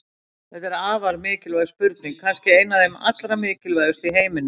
Þetta er afar mikilvæg spurning, kannski ein af þeim allra mikilvægustu í heiminum!